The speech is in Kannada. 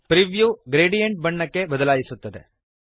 ಪ್ರಿವ್ಯೂ ಗ್ರೇಡಿಯಂಟ್ ಬಣ್ಣಕ್ಕೆ ಬದಲಾಯಿಸುತ್ತದೆ